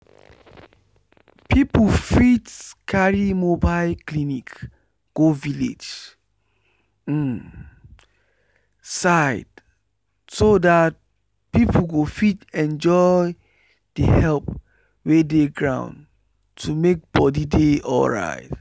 people fit carry mobile clinic go village um side so that people go fit enjoy enjoy the help wey dey ground to make body dey alright.